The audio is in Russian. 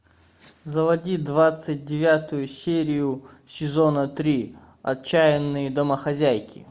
заводи двадцать девятую серию сезона три отчаянные домохозяйки